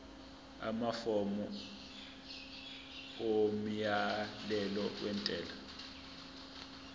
amafomu omyalelo wentela